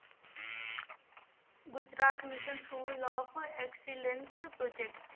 Gujarat mission school of excellence project